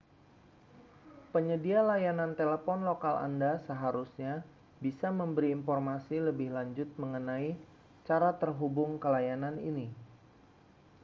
penyedia layanan telepon lokal anda seharusnya bisa memberi informasi lebih lanjut mengenai cara terhubung ke layanan ini